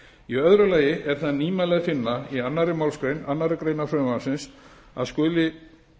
í öðru lagi er það nýmæli að finna í annarri málsgrein annarrar greinar frumvarpsins að skuli